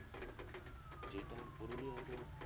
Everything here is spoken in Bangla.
যেটা ওর করোনিও আছে